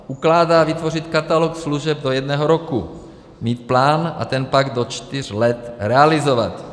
Ukládá vytvořit katalog služeb do jednoho roku, mít plán a ten pak do čtyř let realizovat.